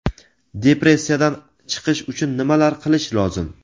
Depressiyadan chiqish uchun nimalar qilish lozim?.